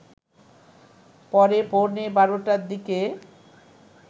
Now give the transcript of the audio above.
পরে পৌনে ১২টার দিকে